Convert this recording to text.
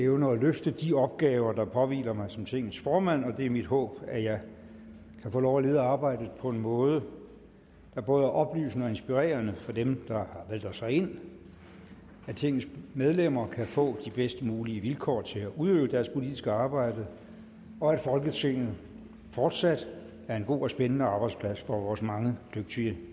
evne at løfte de opgaver der påhviler mig som tingets formand det er mit håb at jeg kan få lov at lede arbejdet på en måde der både er oplysende og inspirerende for dem der har valgt os herind at tingets medlemmer kan få de bedst mulige vilkår til at udøve deres politiske arbejde og at folketinget fortsat er en god og spændende arbejdsplads for vores mange dygtige